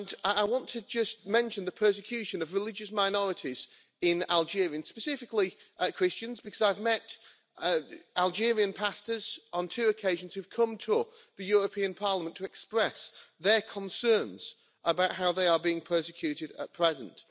I want to mention the persecution of religious minorities in Algeria, and specifically Christians, because I've met Algerian pastors on two occasions who have come to the European Parliament to express their concerns about how they are being persecuted at present.